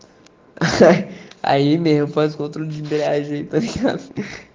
х а имею подруге итальянский